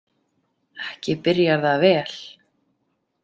Ekki byrjar það vel.